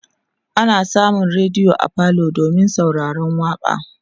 ana samun rediyo a falo domin sauraron waƙa